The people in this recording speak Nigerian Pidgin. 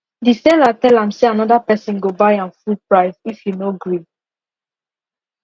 the seller tell am say another person go buy am full price if you no gree